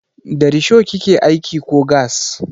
Da risho kike aiki ko gas?